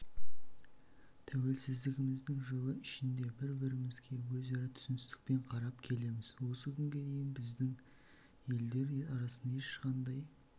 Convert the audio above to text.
тәуелсіздігіміздің жылы ішінде бір-бірімізге өзара түсіністікпен қарап келеміз осы күнге дейін біздің елдер арасында ешқандай